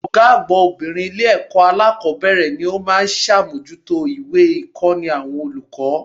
Ògá àgbà obìnrin Ilé èkó alákòbéèrè ni ó má a n sàmójútó ìwé ìkóni àwọn olùkó